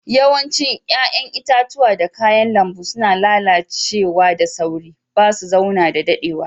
Yawancin yayan itatuwa da kayan lambu suna lallace da sauri. Ba su zauna da dadewa.